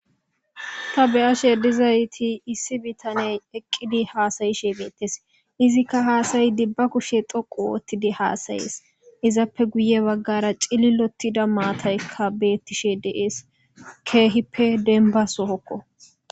Ta beyashe dizayti issi bitaney eqqidi haasayishe beettes izikka haasayi dibba kushe doqu woottidi haasayees izappe guye baggara cililotida maataykka beettishe deees keehippe denba sohokko.